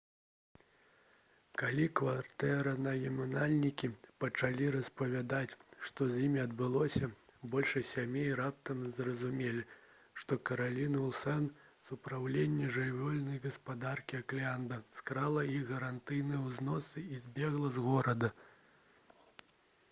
калі кватэранаймальнікі пачалі распавядаць што з імі адбылося большасць сем'яў раптам зразумелі што кэралін уілсан з упраўлення жыллёвай гаспадаркі окленда скрала іх гарантыйныя ўзносы і збегла з горада